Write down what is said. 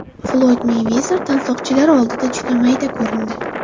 Floyd Meyvezer tansoqchilari oldida juda mayda ko‘rindi .